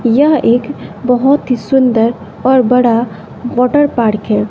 यह एक बहोत ही सुंदर और बड़ा वाटर पार्क है।